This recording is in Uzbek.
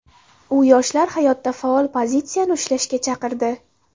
U yoshlarni hayotda faol pozitsiyani ushlashga chaqirdi.